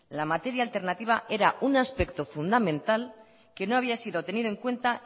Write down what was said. la materia alternativa era un aspecto fundamental que no había sido tenido en cuenta